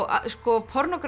sko